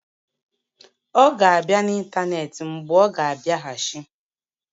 Ọ ga-abịa n'ịntanetị mgbe ọ ga-abịaghachi.